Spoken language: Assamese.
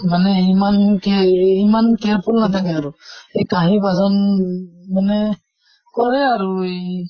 মানে ইমান কেৰ ইমান careful নাথাকে আৰু এই কাহি বাচন মানে কৰে আৰু ই